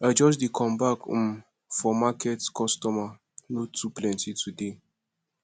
i just dey come back um for market customer no too plenty today